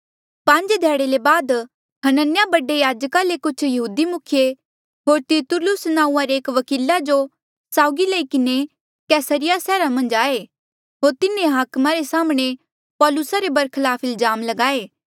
पांज ध्याड़े ले बाद हनन्याह बडे याजका ले कुछ यहूदी मुखिये होर तिरतुल्लुस नांऊँआं रे एक वकीला जो साउगी लई किन्हें कैसरिया सैहरा मन्झ आये होर तिन्हें हाकमा रे साम्हणें पौलुसा रे बरखलाफ इल्जाम लगाये